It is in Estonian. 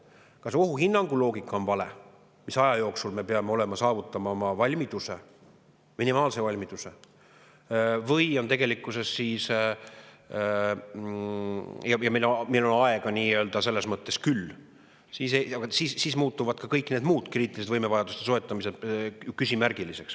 Kui on vale ohuhinnangu loogika, mis aja jooksul me peame saavutama oma minimaalse valmiduse, ja meil on selles mõttes aega küll, siis muutuvad ka kõik need muud kriitilised võimevajaduste soetamised küsimärgiliseks.